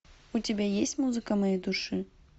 у тебя есть музыка моей души